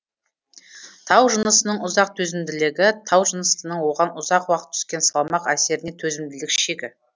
тау жынысының ұзақ төзімділігі тау жынысының оған ұзақ уақыт түскен салмақ әсеріне төзімділік шегі